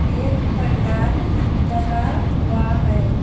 एक पंडाल लगा हुआ है।